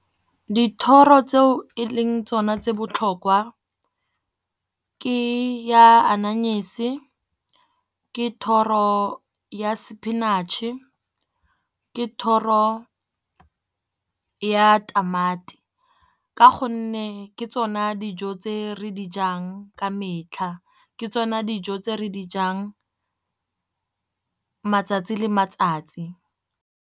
Dithoro tseo e leng tsona tse botlhokwa, ke ya ananyese, ke thoro ya spinach-e, ke thoro ya tamati. Ka gonne ke tsona dijo tse re di jang ka metlha, ke tsone dijo tse re di jang matsatsi le matsatsi.